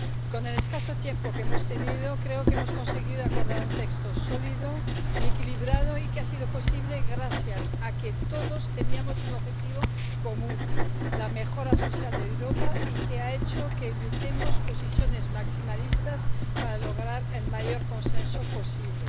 Con el escaso tiempo que hemos tenido, creo que hemos conseguido acordar un texto sólido y equilibrado, lo que ha sido posible gracias a que todos teníamos un objetivo común, la mejora social de Europa, lo que ha hecho que evitemos posiciones maximalistas para lograr el mayor consenso posible.